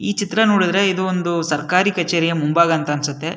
ಈ ಚಿತ್ರ ನೋಡಿದ್ರೆ ಇದು ಒಂದು ಸರ್ಕಾರಿ ಕಚೇರಿಯ ಮುಂಭಾಗ ಅಂತ ಅನ್ಸುತ್ತೆ.